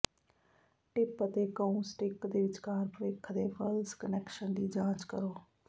tip ਅਤੇ cue stick ਦੇ ਵਿਚਕਾਰ ਭਵਿੱਖ ਦੇ ਫਲਸ਼ ਕਨੈਕਸ਼ਨ ਦੀ ਜਾਂਚ ਕਰੋ